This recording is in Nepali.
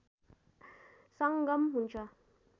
संगम हुन्छ